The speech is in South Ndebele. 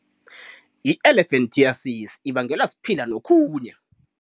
I-elephantiasis ibangelwa siphilangokhunye.